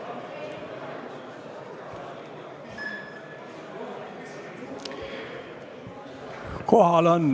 Nüüd võiks minna päevakorra juurde, aga kuna päevakorras mitte midagi ei ole, siis on istung lõppenud.